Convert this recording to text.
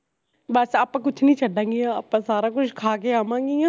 ਬਸ ਆਪਾਂ ਕੁਛ ਨੀ ਛੱਡਾਂਗੀਆ ਆਪਾ ਸਾਰਾ ਕੁਛ ਖਾ ਕੇ ਆਵਾਂਗੀਆ